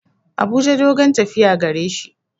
Abuja dogon tafiya gareshi.